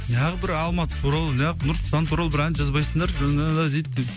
неғып алматы туралы неғып нұрсұлтан туралы бір ән жазбайсыңдар дейді